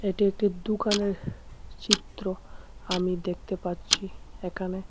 এটি একটি দোকানের চিত্র আমি দেখতে পাচ্ছি এখানে।